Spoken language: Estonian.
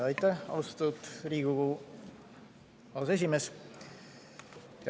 Aitäh, austatud Riigikogu aseesimees!